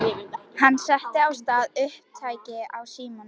Sömuleiðis gisti Kristín eldri dóttir mín ásamt Gunnari